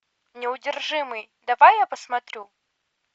неудержимый давай я посмотрю